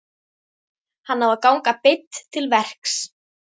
Hann á að ganga beint til verks.